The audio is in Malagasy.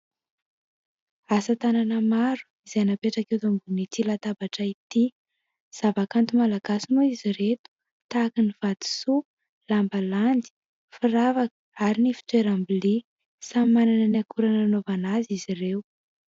Asa tanana maro izay napetraka eto ambon'ity latabatra ity zava-kanto malagasy moa izy ireto tahaka ny vatosoa lamba landy, firavaka ary ny fitoeram-bilia, samy manana ny akora nanaovana azy izy ireo.